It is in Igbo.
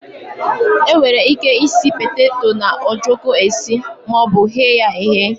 E nwere ike isi petato na ojoko esi maọbu ghee ya eghe.